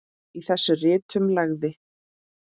Í þessum ritum lagði